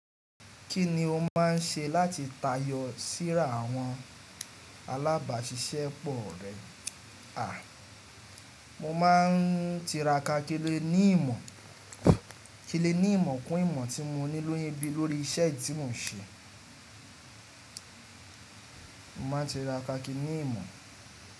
Kí ni o máà ń ṣe láti tayọ síra àwọn alábàáṣiṣẹ́ pọ̀ rẹ? A, mo ma ń tira kakiri ní ìmọ̀, kilé ní ìmọ̀ kún ìmọ̀ tí mo ní lóyún bí lórí iṣẹ́ tí mò ń ṣe. Mo ma ń tira kaki ní ìmọ̀.